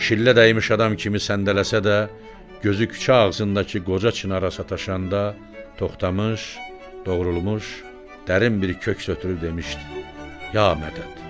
Şillə dəymiş adam kimi səndələsə də, gözü küçə ağzındakı qoca çinara sataşanda toxtamış, doğrulmuş, dərin bir kök sötürüb demişdi: "Ya mədət!"